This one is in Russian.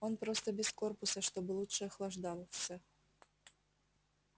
он просто без корпуса чтобы лучше охлаждался